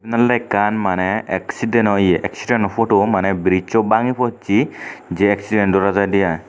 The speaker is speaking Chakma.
indaw ekkan maneh exiden oye exideno pudu brijjo bangi possey je exiden dora jaidey i.